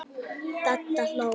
Dadda hló.